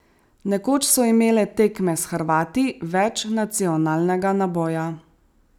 Nekoč so imele tekme s Hrvati več nacionalnega naboja.